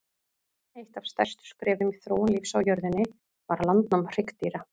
Eitt af stærstu skrefum í þróun lífs á jörðunni var landnám hryggdýra.